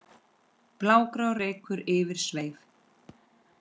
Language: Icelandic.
blágrár reykur yfir sveif